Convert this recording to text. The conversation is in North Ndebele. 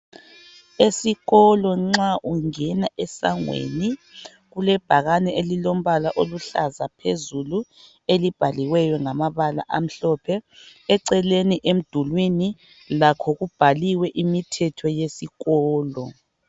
Esikolo nxa ungena esangweni kelubhakani elilombala oluhlaza phezulu elibhaliweyo ngamabala amhlophe. Eceleni emdulwini lakho kubhaliwe imithetho yesikolo.